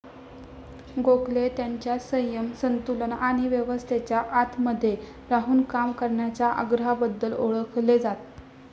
गोखले त्यांच्या संयम, संतुलन आणि व्यवस्थेच्या आतमध्ये राहून काम करण्याच्या आग्रहाबद्दल ओळखले जात.